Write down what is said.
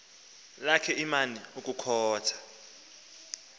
lakhe iman ukukhotha